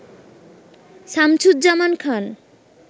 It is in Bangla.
শামসুজ্জামান খান